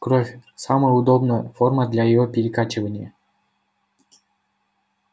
кровь самая удобная форма для её перекачивания